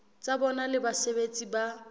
tsa bona le basebeletsi ba